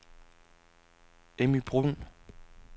Emmy Bruhn